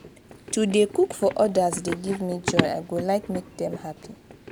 to dey cook for odas dey give me joy; i go like make dem happy.